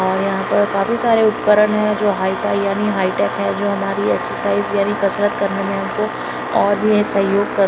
और यहाँ पर काफी सारे उपकरण है जो हाइफाई यानि हाइटेक है जो हमारी एक्सर्साइज़ यानि कसरत करने मे हमको और भी सहयोग कर--